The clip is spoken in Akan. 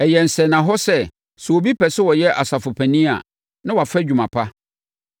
Ɛyɛ sɛnnahɔ sɛ, sɛ obi pɛ sɛ ɔyɛ asafopanin a, na wafa adwuma pa.